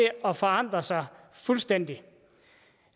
at forandre sig fuldstændig